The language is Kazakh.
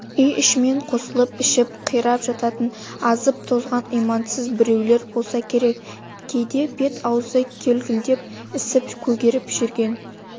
үй-ішімен қосылып ішіп қирап жататын азып-тозған имансыз біреулер болса керек кейде бет-аузы көлкілдеп ісіп көгеріп жүргенін